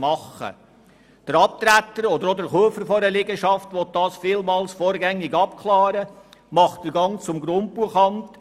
Der Abtreter oder auch der Käufer einer Liegenschaft will diese Dinge häufig vorgängig abklären und macht den Gang zum Grundbuchamt.